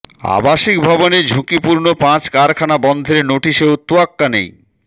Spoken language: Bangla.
আবাসিক ভবনে ঝুঁকিপূর্ণ পাঁচ কারখানা বন্ধের নোটিশেও তোয়াক্কা নেই